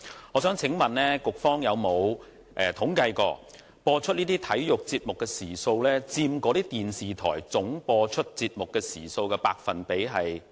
我想問局方有否統計過，這些體育節目的播放時數佔那些電視台節目播放總時數的百分比為何？